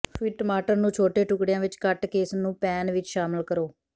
ਫਿਰ ਟਮਾਟਰ ਨੂੰ ਛੋਟੇ ਟੁਕੜਿਆਂ ਵਿਚ ਕੱਟ ਕੇ ਇਸ ਨੂੰ ਪੈਨ ਵਿਚ ਸ਼ਾਮਲ ਕਰੋ